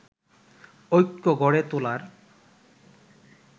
ঐক্য গড়ে তোলার